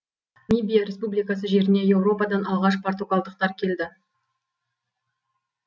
мибия республикасы жеріне еуропадан алғаш португалдықтар келді